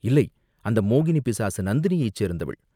இல்லை, அந்த மோகினிப்பிசாசு நந்தினியைச் சேர்ந்தவள்.